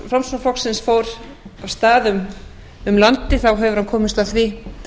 formaður frjálslynda flokksins fór af stað um landið hefur hann komist að því